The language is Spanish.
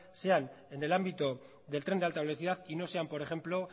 sean en el ámbito del tren de alta velocidad y no sean por ejemplo